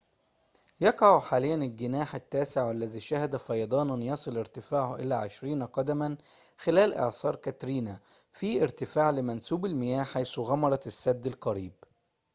يقع حاليًا الجناح التاسع والذي شهد فيضاناً يصل ارتفاعه إلى 20 قدماً خلال إعصار كاترينا في ارتفاع لمنسوب المياه حيث غمرت السد القريب